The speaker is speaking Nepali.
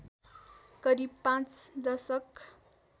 करिब पाँच दशक